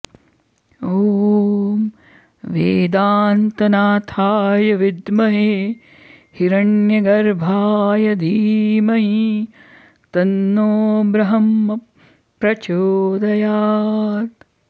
ॐ वेदान्तनाथाय विद्महे हिरण्यगर्भाय धीमही तन्नो ब्रह्म प्रचोदयात्